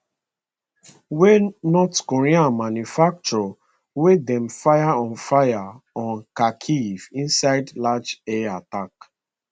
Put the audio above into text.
wey north korea manufacture wey dem fire on fire on kharkiv inside large air attack